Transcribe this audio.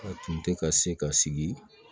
A tun tɛ ka se ka sigi